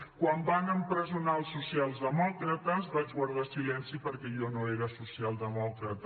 quan van empresonar els socialdemòcrates vaig guardar silenci perquè jo no era socialdemòcrata